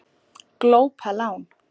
Glópa lán